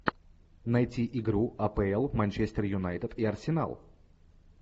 найти игру апл манчестер юнайтед и арсенал